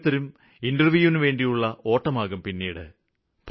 ഓരോരുത്തരും ഇന്റര്വ്യൂവിനുവേണ്ടിയുള്ള ഓട്ടമാകും പിന്നീട്